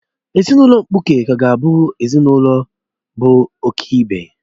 Ezinụlọ mkpuke kaa ga-awu ezinụlọ bụ ọ̀kị́be